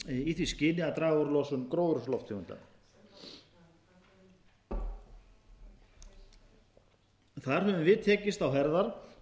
í því skyni að draga úr losun gróðurhúsalofttegunda þar höfum við tekist á herðar